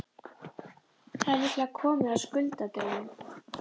Það er líklega komið að skuldadögunum.